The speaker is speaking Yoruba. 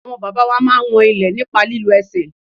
Àwọn bàbá wa máa ń wọn ilẹ̀ nípa lílo ẹsẹ̀.